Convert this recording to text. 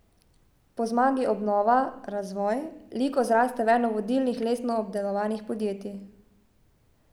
Po zmagi obnova, razvoj, Liko zraste v eno vodilnih lesno obdelovalnih podjetij.